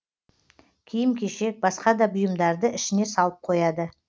киім кешек басқа да бұйымдарды ішіне салып қояды